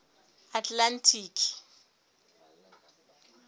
atlantic